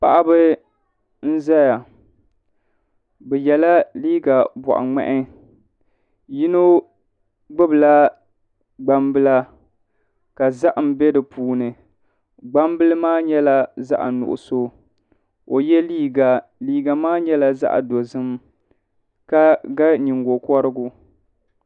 Paɣaba n ʒɛya bi yɛla liiga boɣa ŋmahi yino gbubila gbambila ka zaham bɛ di puuni gbambili maa nyɛla zaɣ nuɣso ka o yɛ liiga liiga maa nyɛla zaɣ dozim ka ga nyingokorigu